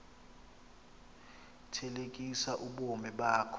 thelekisa ubomi bakho